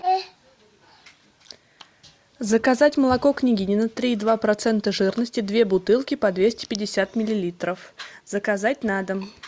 заказать молоко княгинино три и два процента жирности две бутылки по двести пятьдесят миллилитров заказать на дом